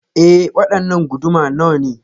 E, waɗanna guduma nawane.